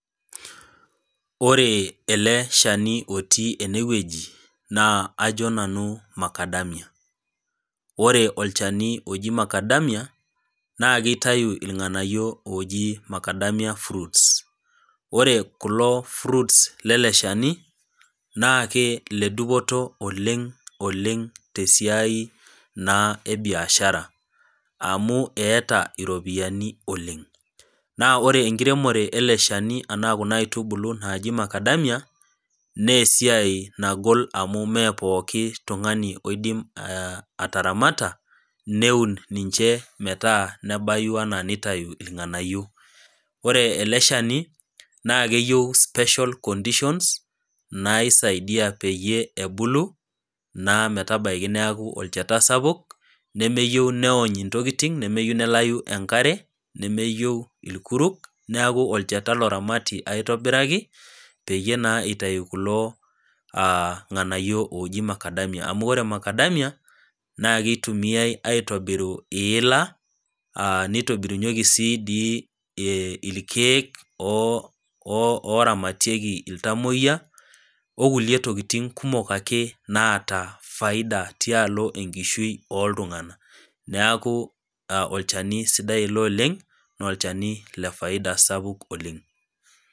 Ore ele shani otii ene wueji, naa ajo nanu Makadamia, ore olchani oji Makadamia, naa keitayu ilng'anayio ooji Makadamia fruits, ore kulo fruits le ele shani naake ile dupoto oleng' oleng' naa te siai e biashara, amu eata iropiani oleng', naa ore enkiremore ele shani anaa kuna aitubulu naji Makadamia naa esiai nagol amu mee pooki tung'ani oidim ataramata, neun ninche metaa nebayu anaa neitayu ilg'anayo. Ore ele shani naa keyiou special conditions naisaidia peyie ebulu, naa metabaiki neaku olcheta sapuk, nemeyou neony intokitin, nemeyou nelayu enkare nemeyou ilkuruk, neaku olcheta oramati aitobiraki, peyie naa eitayu kulo ng'anayo na oji Makadamia, amu ore olmakadamia naa keitumiai aitobiru iila, neitobirunyeki sii dii ilkeek, oramatieki iltamwoiya, o kulie tokitin kumok ake naata faida tialo enkishui oo iltung'ana, neaku olchani sidai oleng' ilo, naa olchani le faida sapuk oleng'.